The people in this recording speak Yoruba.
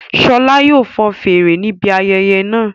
Ṣọla yóò fọn fèrè níbi ayẹyẹ náà